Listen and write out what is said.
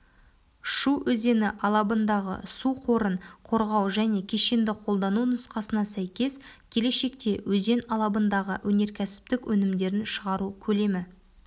шу өзені алабындағы су қорын қорғау және кешенді қолдану нұсқасына сәйкес келешекте өзен алабындағы өнеркәсіптік өнімдерін шығару көлемі